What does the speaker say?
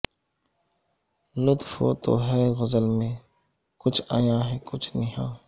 لطف ہے تو ہے غزل میں کچھ عیاں ہے کچھ نہاں